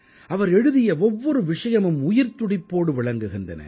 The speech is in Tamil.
அவர் எழுதிய ஒவ்வொரு விஷயமும் உயிர்த்துடிப்போடு விளங்குகின்றன